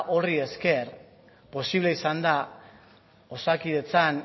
horri esker posible izan da osakidetzan